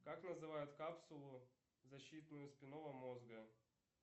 как называют капсулу защитную спинного мозга